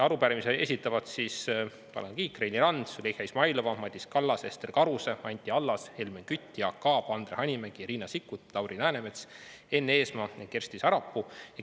Arupärimise esitavad siis Tanel Kiik, Reili Rand, Züleyxa Izmailova, Madis Kallas, Ester Karuse, Anti Allas, Helmen Kütt, Jaak Aab, Andre Hanimägi, Riina Sikkut, Lauri Läänemets, Enn Eesmaa ja Kersti Sarapuu.